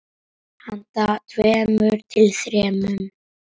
Handa tveimur til þremur